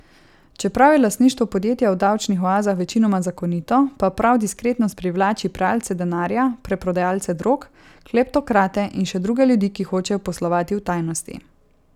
Čeprav je lastništvo podjetja v davčnih oazah večinoma zakonito, pa prav diskretnost privlači pralce denarja, preprodajalce drog, kleptokrate in še druge ljudi, ki hočejo poslovati v tajnosti.